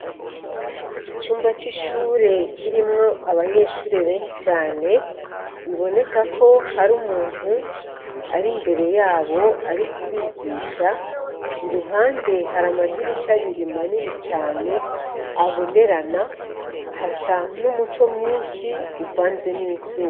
Icumba c'ishure kirimwo abanyeshure benshi cane biboneka ko hari umuntu ari imbere yabo ari kubigisha, iruhande hari amadirisha abiri manini cane abonerana, hasa n'umuco mwinshi uvanze n'izuba.